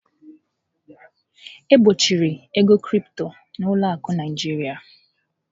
E gbochiri ego Crypto na ụlọ akụ Naịjiria.